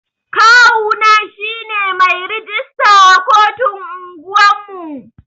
Kawu na shine mai rijista a kotun unguwan mu.